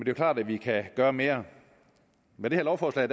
jo klart at vi kan gøre mere med det her lovforslag